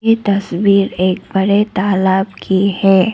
ये तस्वीर एक बड़े तालाब की है।